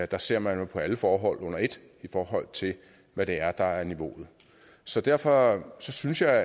der ser man jo på alle forhold under et i forhold til hvad der er niveauet så derfor synes jeg